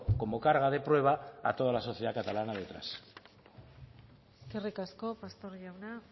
como carga de prueba a toda la sociedad catalana detrás eskerrik asko pastor jauna